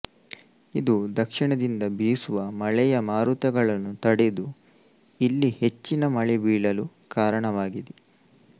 ಇದು ದಕ್ಷಿಣದಿಂದ ಬೀಸುವ ಮಳೆಯ ಮಾರುತಗಳನ್ನು ತಡೆದು ಇಲ್ಲಿ ಹೆಚ್ಚಿನ ಮಳೆ ಬೀಳಲು ಕಾರಣವಾಗಿದೆ